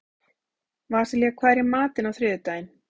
Vasilia, hvað er í matinn á þriðjudaginn?